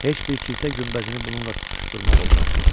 Heç bir kilsə günbəzini bununla tutuşdurmaq olmaz.